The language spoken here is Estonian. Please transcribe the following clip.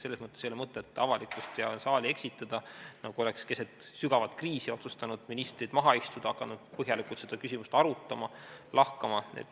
Selles mõttes ei ole mõtet avalikkust ja saali eksitada, nagu oleks keset sügavat kriisi otsustanud ministrid maha istuda ja hakanud põhjalikult seda küsimust arutama ja lahkama.